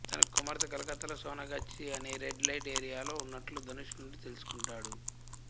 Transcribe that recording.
తన కుమార్తె కలకత్తాలో సోనాగాచి అనే రెడ్ లైట్ ఏరియాలో ఉన్నట్లు ధనుష్ నుండి తెలుసుకుంటాడు